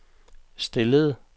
stillede